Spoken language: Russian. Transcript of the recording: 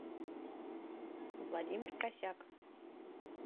владимир косяк